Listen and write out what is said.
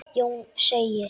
Jón segir: